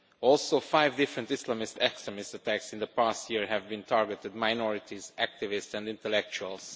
Also five different Islamist extremist attacks in the past year have been targeting minorities, activists and intellectuals.